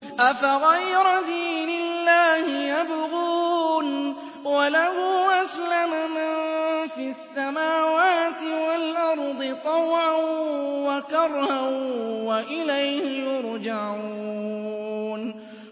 أَفَغَيْرَ دِينِ اللَّهِ يَبْغُونَ وَلَهُ أَسْلَمَ مَن فِي السَّمَاوَاتِ وَالْأَرْضِ طَوْعًا وَكَرْهًا وَإِلَيْهِ يُرْجَعُونَ